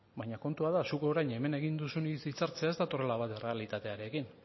baina kontua da zuk orain hemen egin duzun hitzartzeaz ez datorrela bat errealitatearekin